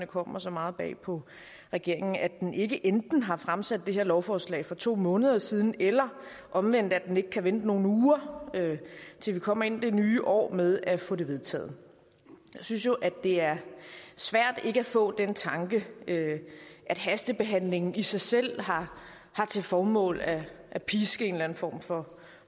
kommet så meget bag på regeringen at den ikke enten har fremsat det her lovforslag for to måneder siden eller omvendt at den ikke kan vente nogle uger til vi kommer ind i det nye år med at få det vedtaget jeg synes det er svært ikke at få den tanke at hastebehandlingen i sig selv har til formål at at piske en eller anden form for